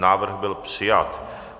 Návrh byl přijat.